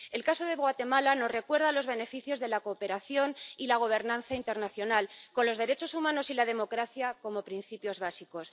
El caso de Guatemala nos recuerda los beneficios de la cooperación y la gobernanza internacional, con los derechos humanos y la democracia como principios básicos.